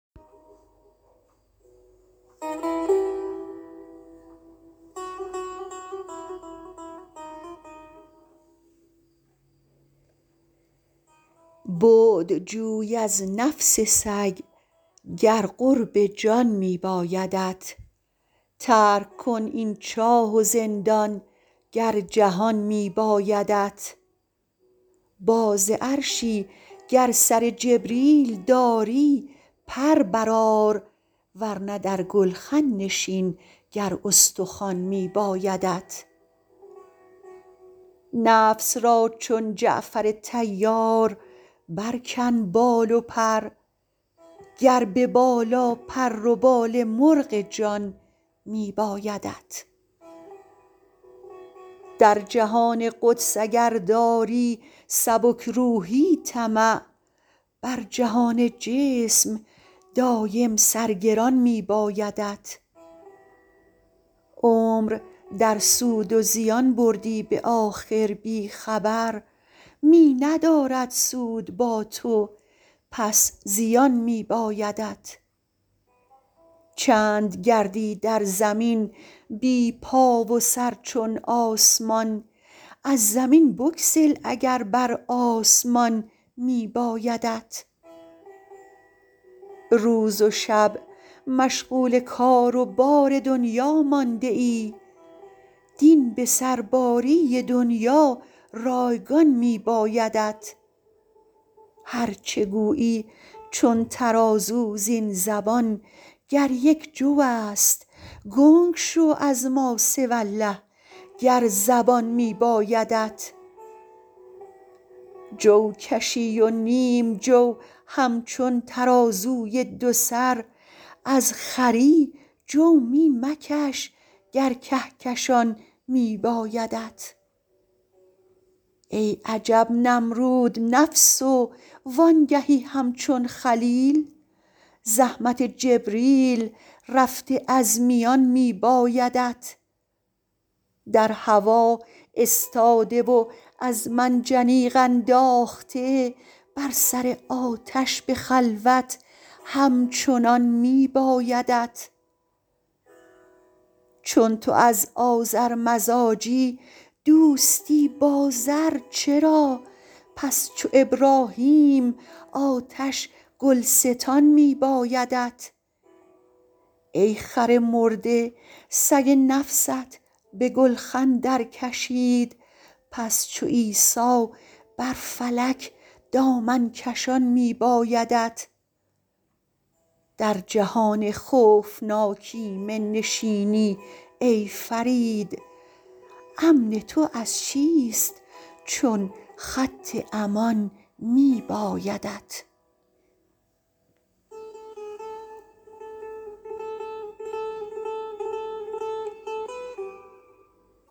بعد جوی از نفس سگ گر قرب جان می بایدت ترک کن این چاه و زندان گر جهان می بایدت باز عرشی گر سر جبریل داری پر برآر ورنه در گلخن نشین گر استخوان می بایدت نفس را چون جعفر طیار برکن بال و پر گر به بالا پر و بال مرغ جان می بایدت در جهان قدس اگر داری سبک روحی طمع بر جهان جسم دایم سر گران می بایدت عمر در سود و زیان بردی به آخر بی خبر می ندارد سود با تو پس زیان می بایدت چند گردی در زمین بی پا و سر چون آسمان از زمین بگسل اگر بر آسمان می بایدت روز و شب مشغول کار و بار دنیا مانده ای دین به سرباری دنیا رایگان می بایدت هرچه گویی چون ترازو زین زبان گر یک جو است گنگ شو از ما سوی الله گر زبان می بایدت جو کشی و نیم جو همچون ترازوی دو سر از خری جو می مکش گر کهکشان می بایدت ای عجب نمرود نفس و وانگهی همچون خلیل زحمت جبریل رفته از میان می بایدت در هوا استاده و از منجنیق انداخته بر سر آتش به خلوت همچنان می بایدت چون تو از آذر مزاجی دوستی با زر چرا پس چو ابراهیم آتش گلستان می بایدت ای خر مرده سگ نفست به گلخن در کشید پس چو عیسی بر فلک دامن کشان می بایدت در جهان خوفناک ایمن نشینی ای فرید امن تو از چیست چون خط امان می بایدت